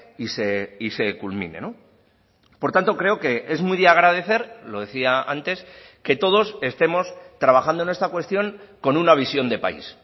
y se culmine por tanto creo que es muy de agradecer lo decía antes que todos estemos trabajando en esta cuestión con una visión de país